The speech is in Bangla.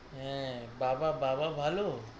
আঁ, বাবা, বাবা ভালো।